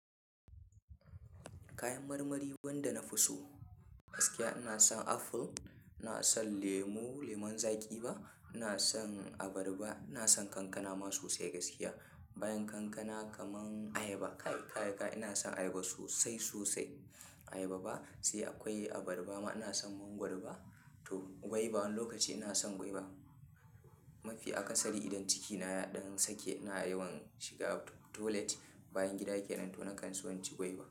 Kayan marmari wanda na fi so gaskiya ina son aful, ina son lemu, leman zaƙi ba, ina son abarba, ina son kankana ma sosai gaskiya. Bayan kankana kaman ayaba, kai kai kai ina son ayaba sosai sosai. Ayaba ba sai akwai abarba ma ina son mangwaro ba. To gwaiba wani lokaci ina son gwaiba. Mafi akasari idan cikina ɗan sake na yi shiga toilet bayan gida yake nan to na kansu innci gwaiba.